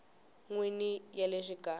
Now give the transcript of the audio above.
n wini ya le xikarhi